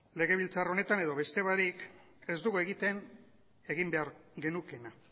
legebiltzar honetan edo beste barik ez dugu egiten egin behar genukeena